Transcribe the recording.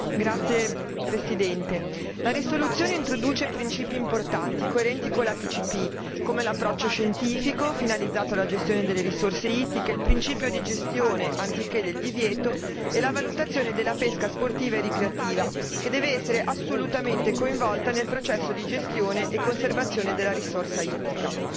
Signor Presidente, onorevoli colleghi, la risoluzione introduce principi importanti coerenti con la PCP, come l'approccio scientifico finalizzato alla gestione delle risorse ittiche, il principio di gestione, anziché del divieto, e la valutazione della pesca sportiva e ricreativa, che deve essere assolutamente coinvolta nel processo di gestione e conservazione della risorsa ittica.